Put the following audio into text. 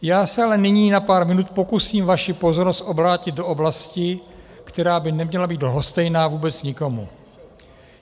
Já se ale nyní na pár minut pokusím vaši pozornost obrátit do oblasti, která by neměla být lhostejná vůbec nikomu.